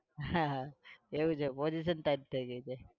એવું છે? position tight થઇ ગઈ છે?